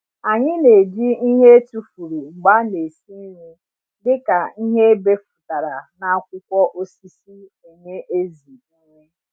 anyị n’eji ịhe etufuru mgbe ana esi nri dịka ịhe ebefụtara na akwụkwọ osisi enye ểzỉ nri